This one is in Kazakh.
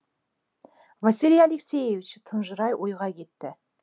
василий алексеевич тұнжырай ойға кетті